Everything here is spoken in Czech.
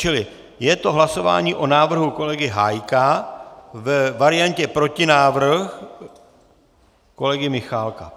Čili je to hlasování o návrhu kolegy Hájka ve variantě protinávrh kolegy Michálka.